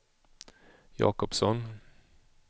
Jakobsson